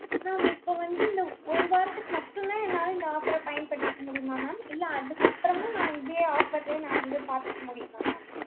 mam இப்ப வந்து இந்த ஒரு வாரத்துக்கு மட்டும்தான் என்னால இந்த offer அ பயன்படுத்திக்க முடியுமா mam இல்ல அதுக்கப்புறமும் நான் இதே offer லயே நான் வந்து பாத்துக்க முடியுமா mam